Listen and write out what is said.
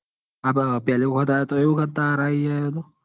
હ પેલી વખત આયો તો એ વખત.